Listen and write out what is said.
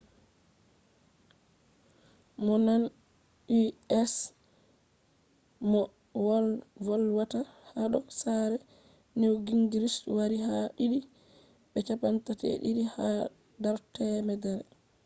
mo nane u.s. moh volwata hado sare newt gingrich wari ha did be 32 ha dar 100